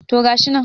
to gashi nan